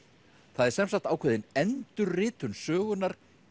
það er semsagt ákveðin endurritun sögunnar